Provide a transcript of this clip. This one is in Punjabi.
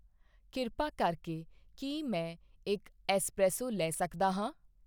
ਕਿਰਪਾ ਕਰਕੇ ਕੀ ਮੈਂ ਇੱਕ ਐੱਸਪ੍ਰੈਸੋ ਲੈ ਸਕਦਾ ਹਾਂ ?